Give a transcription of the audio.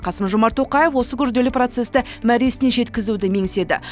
қасым жомарт тоқаев осы күрделі процесті мәресіне жеткізуді меңзеді